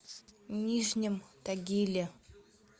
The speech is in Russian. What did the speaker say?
нижнем тагиле